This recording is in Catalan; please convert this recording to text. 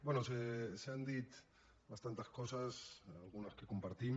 bé s’han dit bastantes coses algunes que compartim